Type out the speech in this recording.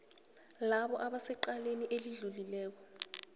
labo abasecaleni elidluliswako